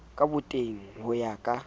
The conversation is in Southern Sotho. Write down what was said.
ka botenya ho ya ka